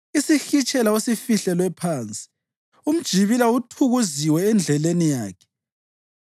Isihitshela usifihlelwe phansi; umjibila uthukuziwe endleleni yakhe.